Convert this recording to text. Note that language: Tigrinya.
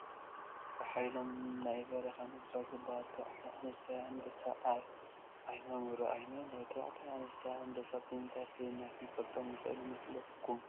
ብሓይሎም ናይ በረኻ ንጉሳት ዝበሃሉ ተባዕታይን ኣነስታይን ኣንበሳ ኣብ ዓዪሞም ይረአዩና ኣለው፡፡ ተባዕታይን ኣነስታይን ኣንበሳ ብምንታይ ፈሊና ክንፈልጥ ንኽእል ይመስለኩም?